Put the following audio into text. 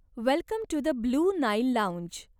Welcome to the blue Nile lounge.